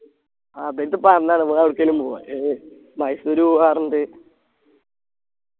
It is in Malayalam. ആഹ് അതീവരടുത് പറഞ്ഞാണ് വേറെ എടുക്കേലും പോവാൻ ഏർ മൈസൂര് പോവ്വ പറഞ്ഞിട്ട്